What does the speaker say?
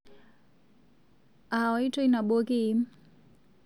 Aaitoi nabo kiim?